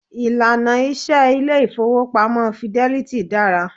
Ìlànà iṣẹ ilé ìfọwọ́pamo Fidelity dára.